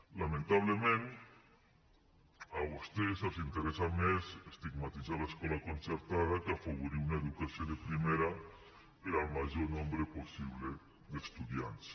lamentablement a vostès els interessa més estigmatitzar l’escola concertada que afavorir una educació de primera per al major nombre possible d’estudiants